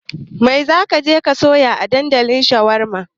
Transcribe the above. Mai za ka je ka sayo a dandalin shawarma?